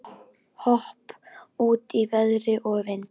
Hæ-hopp út í veður og vind.